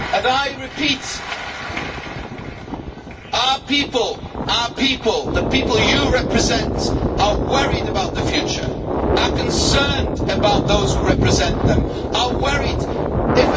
I repeat our people, the people you represent, are worried about the future, are concerned about those who represent them, are anxious.